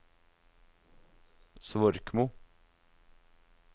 Svorkmo